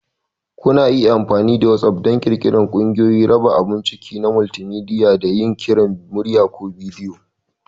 Kuna iya amfani da WhatApp don ƙirƙirar ƙungiyoyi, raba abun ciki na multimedia, da yin kiran murya/bidiyo.